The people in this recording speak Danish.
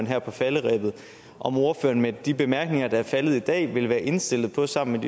her på falderebet om ordføreren med de bemærkninger der er faldet i dag vil være indstillet på sammen